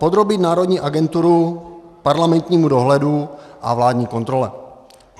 Podrobit národní agenturu parlamentnímu dohledu a vládní kontrole.